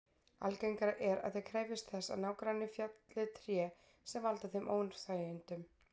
Algengara er að þeir krefjist þess að nágranni felli tré sem valda þeim óþægindum.